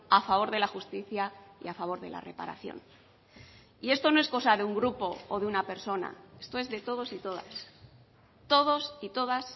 a favor de la justicia y a favor de la reparación y esto no es cosa de un grupo o de una persona esto es de todos y todas todos y todas